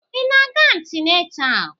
Ị na-aga antịnatal?